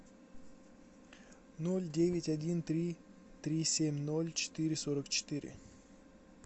ноль девять один три три семь ноль четыре сорок четыре